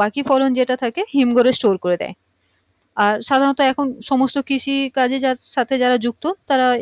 বাকি ফলন যেটা থাকে হিমঘরে store করে দেয় আর সাধারণতঃ এখন সমস্ত কৃষি কাজের সাথে যারা যুক্ত তারাও